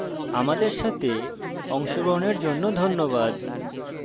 অংশগ্রহনের জন্য ধন্যবাদ